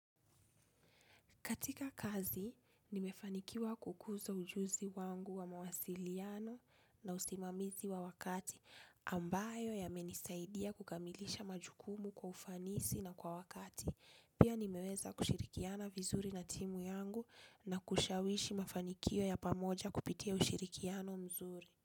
Katika kazi, nimefanikiwa kukuza ujuzi wangu wa mawasiliano na usimamizi wa wakati ambayo ya menisaidia kukamilisha majukumu kwa ufanisi na kwa wakati. Pia nimeweza kushirikiana vizuri na timu yangu na kushawishi mafanikio ya pamoja kupitia ushirikiano mzuri.